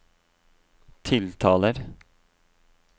tiltaler